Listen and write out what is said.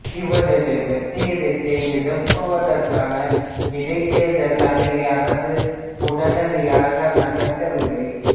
இவரது வெற்றிடத்தை நிரப்புவதற்கான இடைத்தேர்தலை அன்றைய அரசு உடனடியாக நடத்தவில்லை